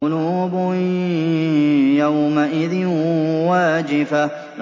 قُلُوبٌ يَوْمَئِذٍ وَاجِفَةٌ